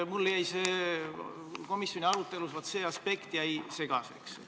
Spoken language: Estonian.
Vaat see aspekt jäi mul komisjoni arutelus segaseks.